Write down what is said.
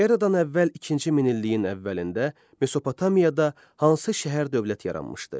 Eradan əvvəl ikinci minilliyin əvvəlində Mesopotamiyada hansı şəhər-dövlət yaranmışdı?